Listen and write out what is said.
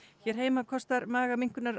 hér heima kostar